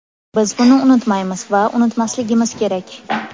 Biz buni unutmaymiz va unutmasligimiz kerak.